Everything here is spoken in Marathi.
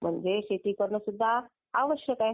म्हणजे शेती करणं सुद्धा आवश्यक आहे.